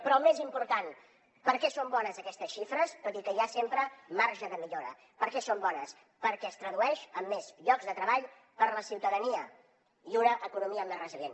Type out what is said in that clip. però el més important per què són bones aquestes xifres tot i que hi ha sempre marge de millora per què són bones perquè es tradueixen en més llocs de treball per a la ciutadania i en una economia més resilient